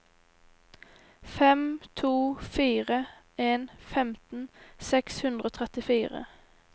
fem to fire en femten seks hundre og trettifire